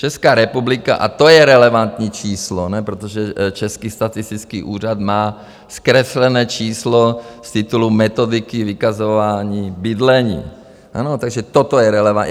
Česká republika, a to je relevantní číslo, protože Český statistický úřad má zkreslené číslo z titulu metodiky vykazování bydlení, takže toto je relevantní.